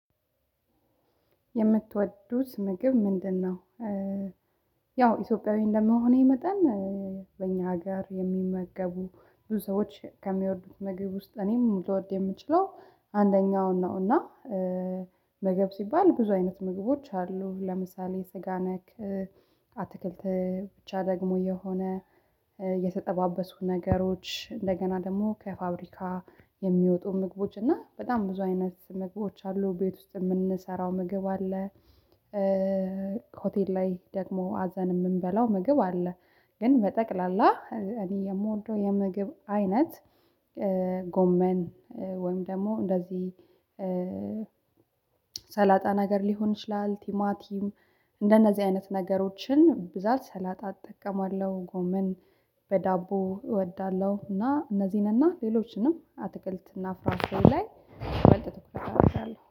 የምትወዱት ምግብ ምንድነው? ያው ኢትዮጵያዊ እንደመሆኔ መጠን በእኛ ሀገር የሚመገቡ ሰዎች ከሚወዱት ምግብ ውስጥ እኔም ልወድ የምችለው አንደኛው እና ምግብ ሲባል ብዙ አይነት ምግቦች አሉ ለምሳሌ ስጋ ነክ አትክልት ብቻ ደግሞ የሆነ የተጠባበሱ ነገሮች እንደገና ደግሞ ከፋብሪካ የሚወጡ ምግቦች እና በጣም ብዙ አይነት ምግቦች አሉ ቤት ውስጥ የምንሰራው ምግብ አለ። ከሆቴል ላይ ደግሞ አዘን የምንበላው ምግብ አለ። ግን በጠቅላላ እኔ የምወደው የምግብ አይነት። ጎመን ወይም ደግሞ እንደዚህ ሰላጣ ነገር ሊሆን ይችላል። ቲማቲም እንደነዚህ አይነት ነገሮችን ብዛት ሰላጣ እጠቀማለሁ ጎመን በዳቦ እወዳለሁ። እና እነዚህንና ሌሎችንም አትክልት እና ፍራፍሬ ላይ በልተት እንኳን አድርጋለሁ